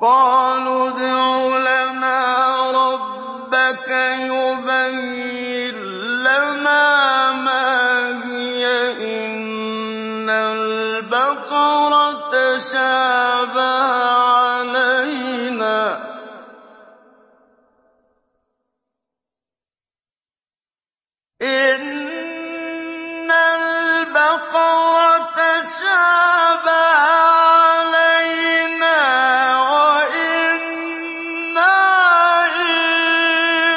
قَالُوا ادْعُ لَنَا رَبَّكَ يُبَيِّن لَّنَا مَا هِيَ إِنَّ الْبَقَرَ تَشَابَهَ عَلَيْنَا وَإِنَّا إِن